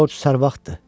Corc sərvaxtdır.